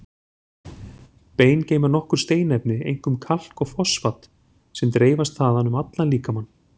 Bein geyma nokkur steinefni, einkum kalk og fosfat, sem dreifast þaðan um allan líkamann.